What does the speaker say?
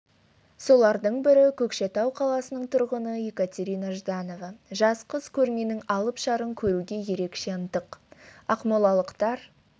солардың бірі көкшетау қаласының тұрғыны екатерина жданова жас қыз көрменің алып шарын көруге ерекше ынтық ақмолалықтар